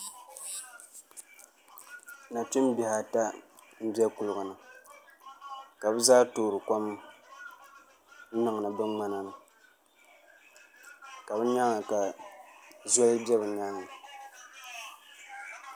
Nachimbihi ata n bɛ kuligi ni ka bi zaa toori kom n niŋdi bi ŋmana ni ka bi nyaanga ka zoli bɛ bi nyaanga